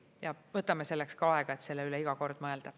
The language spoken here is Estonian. Ja võtame selleks ka aega, et selle üle iga kord mõelda.